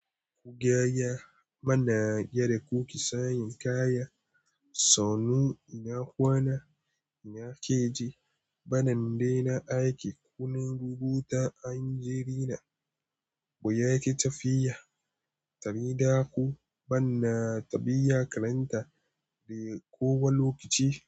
Ku gaya mana yadda kuke sayen kaya. Sannu ina kwana ina gajiya bari in daina aiki. Kuna rubuta yan jarida ko yaya yake tafiya saboda ku bana tafiya karantawa ko wani lokaci.